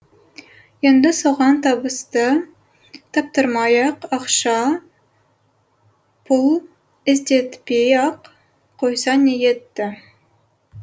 енді соған табысты таптырмай ақ ақша пұл іздетпей ақ қойса не етті